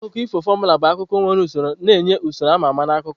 Akụkọ ifo formula bụ akụkọ nwere usoro, na-enye usoro a ma ama na akụkọ.